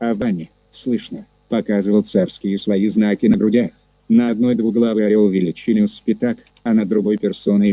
а в бане слышно показывал царские свои знаки на грудях на одной двуглавый орёл величиною с пятак а на другой персона его